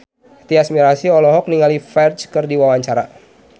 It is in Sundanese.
Tyas Mirasih olohok ningali Ferdge keur diwawancara